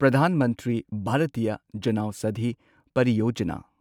Pradhan Mantri Bhartiya Janaushadhi ꯄꯔꯤꯌꯣꯖꯥꯅꯥ’